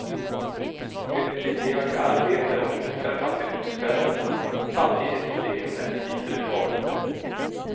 Det stimulerar till arbete och minskar fattigdomsfällorna samtidigt som det är en rättvisereform.